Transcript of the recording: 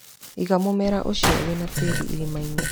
Iga mũmera ũcio wĩna tĩri irima-inĩ.